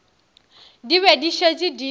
di be di šetše di